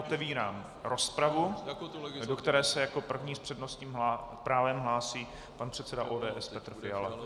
Otevírám rozpravu, do které se jako první s přednostním právem hlásí pan předseda ODS Petr Fiala.